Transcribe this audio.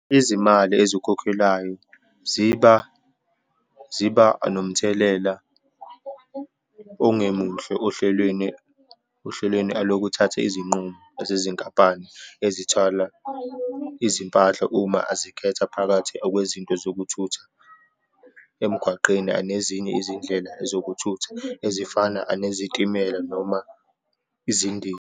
Izimali ezikhokhelwayo ziba, ziba nomthelela ongemuhle ohlelweni, ohlelweni alokuthatha izinqumo ezezinkampani ezithwala izimpahla uma azikhetha phakathi akwezinto zokuthutha emgwaqeni anezinye izindlela zokuthutha ezifana anezitimela noma .